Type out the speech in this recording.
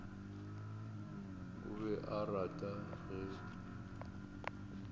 o be a rata ge